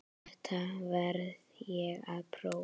Þetta verð ég að prófa